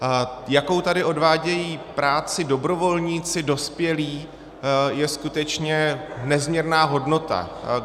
Jakou tady odvádějí práci dobrovolníci dospělí, je skutečně nezměrná hodnota.